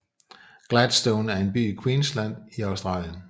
Gladstone er en by i Queensland i Australien